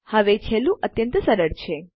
હવે છેલ્લું અત્યંત સરળ છે